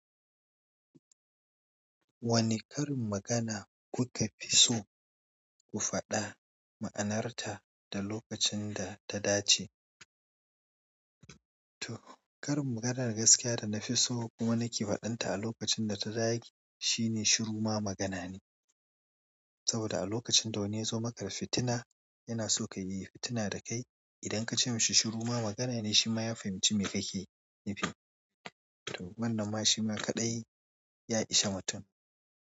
Wane karin magana kuka fi so ku faɗa ma'anarta da lokacin da ta dace? To, karin maganar gaskiya da na fi so kuma na ke faɗin ta a lokacin da ta dace shine "shiru ma magana ne". Saboda a lokacin da wani ya zo maka da fitina, yana so ka yi fitina da kai. Idan ka ce masa "shiru ma magana ne", shi ma ya fahimci me kake nufi. Wannan ma shi ma kaɗai ya ishe mutum.